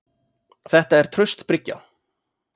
Þetta er traust bryggja.